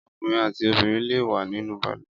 Ọkùnrin àti obìnrin le wẹ̀ nínú balùwẹ̀.